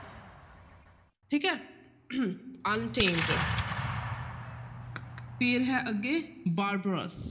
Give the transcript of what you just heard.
ਠੀਕ ਹੈ untamed ਫਿਰ ਹੈ ਅੱਗੇ barbarous